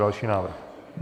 Další návrh.